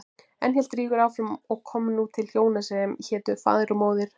Enn hélt Rígur áfram og kom nú til hjóna sem hétu Faðir og Móðir.